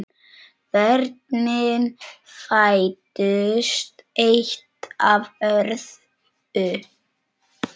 Börnin fæddust eitt af öðru.